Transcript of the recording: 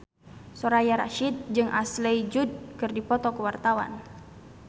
Soraya Rasyid jeung Ashley Judd keur dipoto ku wartawan